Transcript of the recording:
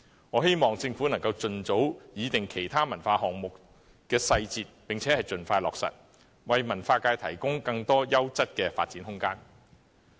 我希望政府能盡早擬定其他文化項目的細節並盡快落實，為文化界提供更多優質的發展空間。